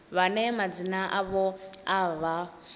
vhane madzina avho a vha